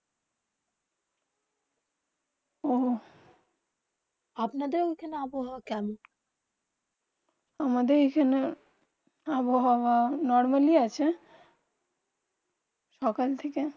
আপনা দের ওখানে আভহাব কেমন? আমাদের এখানে আবহাওয়া নরমাল আছে সকাল থেকে